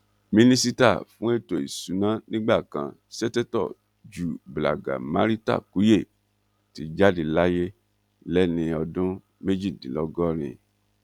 mínísítà fún ètò ìṣúná nígbà kan sètetò ju blágamaritàkuye ti jáde láyé lẹni ọdún méjìdínlọgọrin